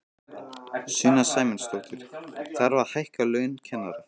Sunna Sæmundsdóttir: Þarf að hækka laun kennara?